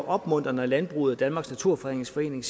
opmuntret når landbruget og danmarks naturfredningsforening